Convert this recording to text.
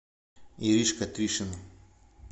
иришка тришина